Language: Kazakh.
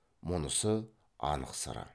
мұнысы анық сыры